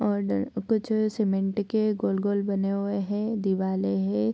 और कुछ सीमेंट के गोल-गोल बने हुए है दिवाले है।